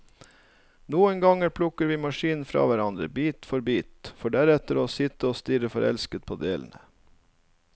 Noen ganger plukker vi maskinen fra hverandre, bit for bit, for deretter å sitte og stirre forelsket på delene.